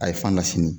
A ye fan ka sini